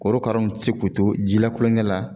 Korokara nu ti se k'u to jilakulonkɛ la